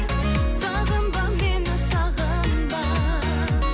сағынба мені сағынба